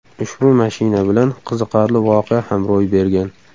Ushbu mashina bilan qiziqarli voqea ham ro‘y bergan.